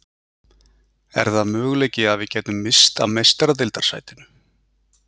Er það möguleiki að við gætum misst af meistaradeildarsætinu?